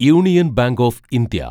union Bank of India